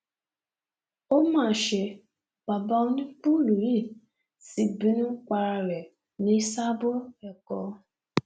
ó má ṣe bàbá onípùùlù yìí sí bínú para ẹ ní sáàbọ èkó